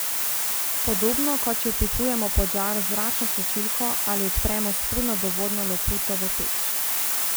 Podobno kot če vpihujemo pod žar z zračno tlačilko ali odpremo spodnjo dovodno loputo v peč.